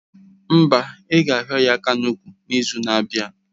Mba, ị ga hio ya aka n'úkwù n'izu na-abịa.